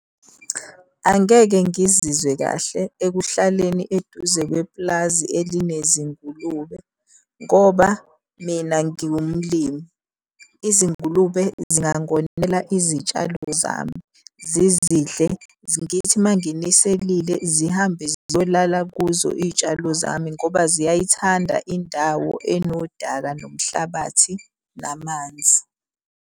Angeke ngizizwe kahle ekuhlaleni eduze kwepulazi elinezingulube ngoba mina ngiwumlimi. Izingulube zingangonela izitshalo zami, zizidle, ngithi uma nginiselile zihambe ziyolala kuzo iy'tshalo zami ngoba ziyayithanda indawo enodaka, nomhlabathi, namanzi.